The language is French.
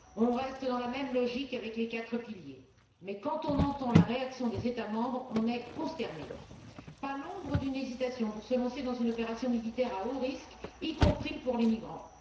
On reste dans la même logique avec les quatre piliers. Mais quand nous entendons la réaction des États membres, nous sommes consternés pas l'ombre d'une hésitation pour se lancer dans une opération militaire à haut risque, y compris pour les migrants.